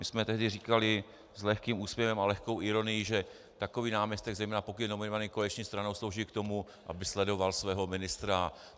My jsme tehdy říkali s lehkým úsměvem a lehkou ironií, že takový náměstek, zejména pokud je nominovaný koaliční stranou, slouží k tomu, aby sledoval svého ministra.